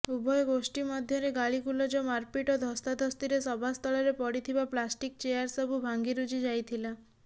ଉଭୟ ଗୋଷ୍ଠୀ ମଧ୍ୟରେ ଗାଳିଗୁଲଜ ମାରପିଟ୍ ଓ ଧସ୍ତାଧସ୍ତିରେ ସଭାସ୍ଥଳରେ ପଡ଼ିଥିବା ପ୍ଲାଷ୍ଟିକ ଚେୟାର ସବୁ ଭାଙ୍ଗିରୁଜି ଯାଇଥିଲା